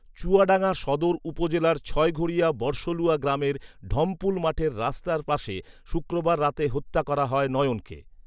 চুয়াডাঙ্গা সদর উপজেলার ছয়ঘরিয়া বড়সলুয়া গ্রামের ঢমপুল মাঠের রাস্তার পাশে শুক্রবার রাতে হত্যা করা হয় নয়নকে